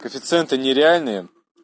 коэффициенты нереальные